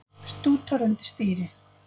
Stútar undir stýri